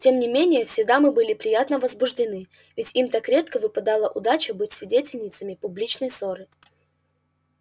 тем не менее все дамы были приятно возбуждены ведь им так редко выпадала удача быть свидетельницами публичной ссоры